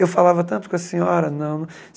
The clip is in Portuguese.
Eu falava tanto com a senhora. Não